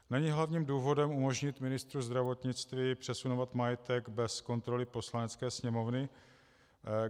Není hlavním důvodem umožnit ministru zdravotnictví přesunovat majetek bez kontroly Poslanecké sněmovny?